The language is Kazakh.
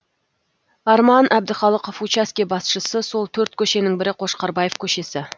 арман әбдіхалықов участке басшысы сол төрт көшенің бірі қошқарбаев көшесі